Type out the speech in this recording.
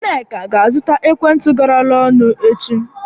Nneka ga azụta ekwentị garala ọnụ echi